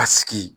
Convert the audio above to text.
Ka sigi